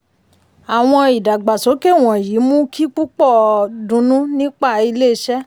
àwọn ìdàgbàsókè wọ̀nyí mú kí púpọ̀ dunnú nípa ilé iṣẹ́.